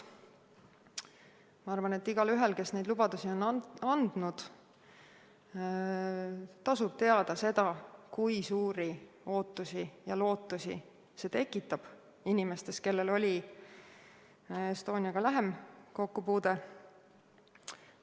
Ma arvan, et igaühel, kes neid lubadusi on andnud, tasub teada seda, kui suuri ootusi ja lootusi see tekitab inimestes, kellel oli Estoniaga lähem kokkupuude.